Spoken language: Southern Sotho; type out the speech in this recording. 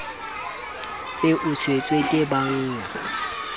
be o tshetswe ke bannga